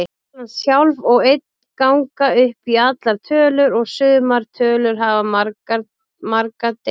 Talan sjálf og einn ganga upp í allar tölur og sumar tölur hafa marga deila.